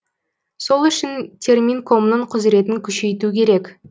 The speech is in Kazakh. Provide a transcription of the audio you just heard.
сол үшін терминкомның құзіретін күшейту керек